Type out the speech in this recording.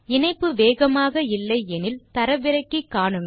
இணைப்பு வேகமாக இல்லையானல் தரவிறக்கி காண்க